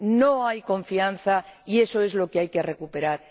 No hay confianza y eso es lo que hay que recuperar.